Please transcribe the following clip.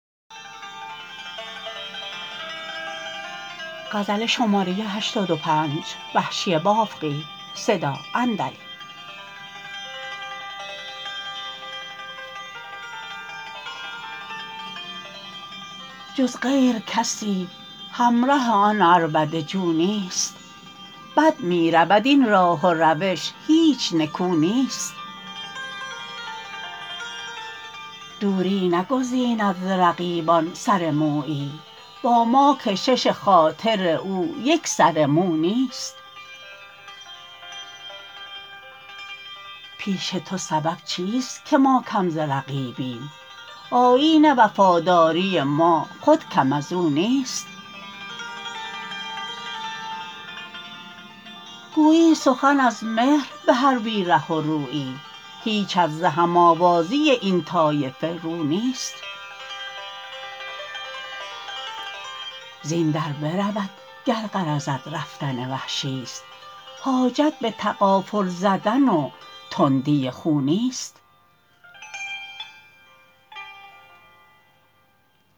جز غیر کسی همره آن عربده جو نیست بد میرود این راه و روش هیچ نکو نیست دوری نگزیند ز رقیبان سر مویی با ما کشش خاطر او یک سر مو نیست پیش تو سبب چیست که ما کم ز رقیبیم آیین وفاداری ما خود کم ازو نیست گویی سخن از مهر به هر بی ره و رویی هیچت ز هم آوازی این طایفه رو نیست زین در برود گر غرضت رفتن وحشیست حاجت به تغافل زدن و تندی خو نیست